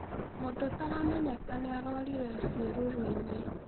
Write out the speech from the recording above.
Mũndũ ũtaramenyeka nĩarorĩĩre cĩerũrũĩnĩ